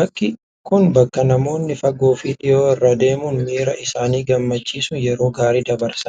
Bakki kun bakka namoonni fagoo fi dhihoo irraa deemuun miira isaanii gammachiisuun yeroo gaarii dabarsanidha.